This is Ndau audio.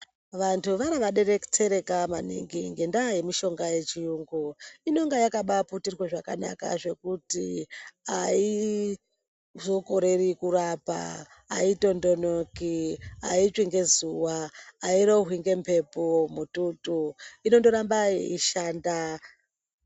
Vantu vara vadetsereka maningi ngendaa yemishonga yechiyungu inonga yakabaaputirwa zvakanaka zvekuti aizokoreri kurapa, aitondonoki, aitsvi ngezuwa, airohwi ngemhepo mututu inondoramba yeishanda.